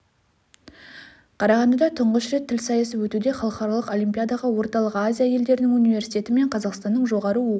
қарағандыда тұңғыш рет тіл сайысы өтуде халықаралық олимпиадаға орталық азия елдерінің университеті мен қазақстанның жоғары оқу